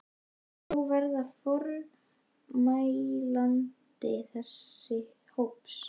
Vilt þú verða formælandi þess hóps?